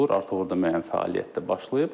Artıq orda müəyyən fəaliyyət də başlayıb.